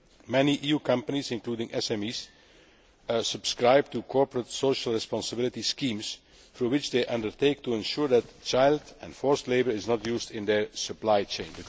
Many EU companies, including SMEs, subscribe to corporate social responsibility schemes, through which they undertake to ensure that child and forced labour are not used in their supply chain.